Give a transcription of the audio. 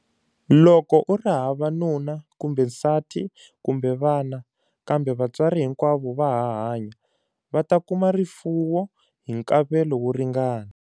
Loko u ri hava nuna kumbe nsati kumbe vana, kambe vantswari hi nkwavo va ha hanya, va ta kuma rifuwo hi nkavelo wo ringana.